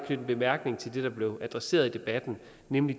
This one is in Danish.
en bemærkning til det der bliver adresseret i debatten nemlig